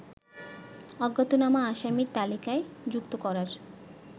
অজ্ঞাতনামা আসামির তালিকায় যুক্ত করার